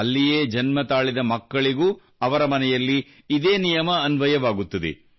ಅಲ್ಲಿಯೇ ಜನ್ಮತಾಳಿದ ಮಕ್ಕಳಿಗೂ ಅವರ ಮನೆಯಲ್ಲಿ ಇದೇ ನಿಯಮ ಅನ್ವಯವಾಗುತ್ತದೆ